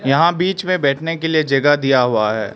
यहां बीच में बैठने के लिए जगह दिया हुआ है।